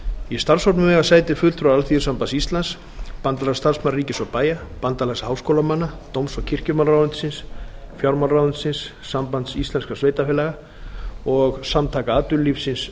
í starfshópnum eiga sæti fulltrúar alþýðusambands íslands bandalags starfsmanna ríkis og bæja bandalags háskólamanna dóms og kirkjumálaráðuneytisins fjármálaráðuneytisins sambands íslenskra sveitarfélaga og samtaka atvinnulífsins